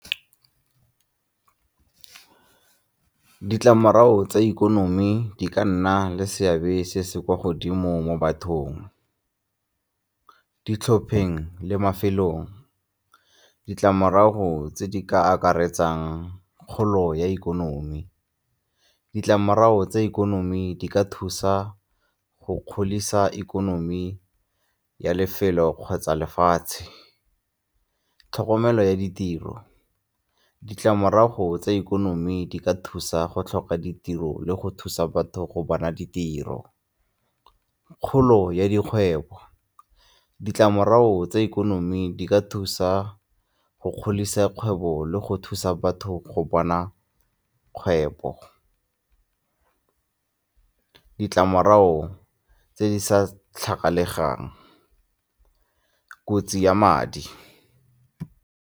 Ditlamorago tsa ikonomi di ka nna le seabe se se kwa godimo mo bathong, ditlhopheng le mafelong. Ditlamorago tse di ka akaretsang kgolo ya ikonomi, ditlamorago tsa ikonomi di ka thusa go godisa ikonomi ya lefelo kgotsa lefatshe. Tlhokomelo ya ditiro, ditlamorago tsa ikonomi di ka thusa go tlhoka ditiro le go thusa batho go bona ditiro. Kgolo ya dikgwebo, ditlamorago tsa ikonomi di ka thusa go godisa kgwebo le go thusa batho go bona kgwebo. Ditlamorago tse di sa tlhagalegang, kotsi ya madi.